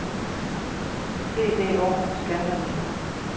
BDO ScanRevision